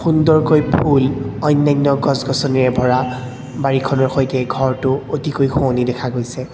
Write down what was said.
সুন্দৰকৈ ফুল অন্যান্য গছ গছনিৰে ভৰা বাৰীখনৰ সৈতে ঘৰটো অতিকৈ শুৱনি দেখা গৈছে।